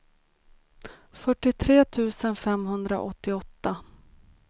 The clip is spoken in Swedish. fyrtiotre tusen femhundraåttioåtta